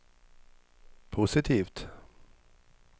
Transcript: positivt